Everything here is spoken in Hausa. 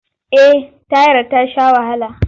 Eh tayar ta sha wahala.